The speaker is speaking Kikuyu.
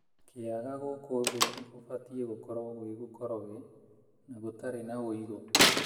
Kĩaga gũkũ thĩ kũbatiĩ gũkorwo gwĩ gũkoroge na gũtarĩ na ũigũ.